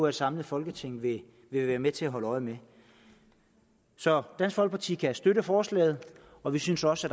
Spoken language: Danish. et samlet folketing vil være med til at holde øje med så dansk folkeparti kan støtte forslaget og vi synes også